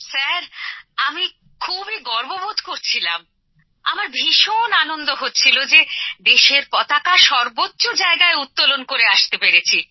sir আমি খুবই গর্ব বোধ করছিলাম আমার ভীষণ আনন্দ হচ্ছিল যে দেশের পতাকা সর্বোচ্চ জায়গায় উত্তোলন করে আসতে পেরেছি